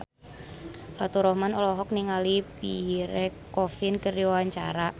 Faturrahman olohok ningali Pierre Coffin keur diwawancara